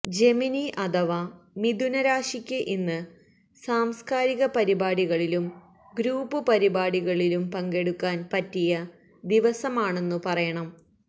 Gemini അഥവാ മിഥുന രാശിയ്ക്ക് ഇന്ന് സാംസ്കാരിക പരിപാടികളിലും ഗ്രൂപ്പ് പരിപാടികളിലും പങ്കെടുക്കാന് പറ്റിയ ദിവസമാണെന്നു പറയണം